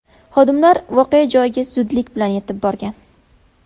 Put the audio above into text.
Xodimlar voqea joyiga zudlik bilan yetib borgan.